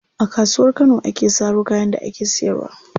A Kasuwar Kano ake saro kayan da ake siyarwa.